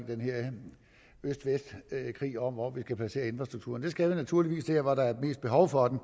den her øst vest krig om hvor vi skal placere infrastrukturen det skal vi naturligvis der hvor der er mest behov for den